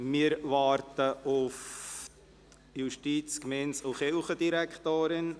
Wir warten auf die Justiz-, Gemeinde- und Kirchendirektorin.